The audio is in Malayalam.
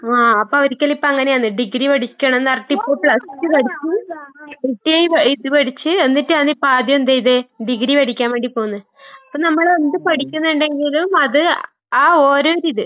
ആഹ് അപ്പവര്ക്കെല്ലാം ഇപ്പങ്ങനെയാന്ന് ഡിഗ്രി പഠിക്കണന്നറഞ്ഞിട്ടിപ്പോ പ്ലസ് ടു പഠിച്ചു, ഐടിഐ പ ഇത് പഠിച്ച്, എന്നിട്ടാണിപ്പാദ്യം എന്തെയ്തെ ഡിഗ്രി പഠിക്കാൻ വേണ്ടി പോകുന്നേ. അപ്പ നമ്മളെന്ത് പഠിക്ക്ന്നിണ്ടെങ്കിലും അത് ആ ഓരോരിത്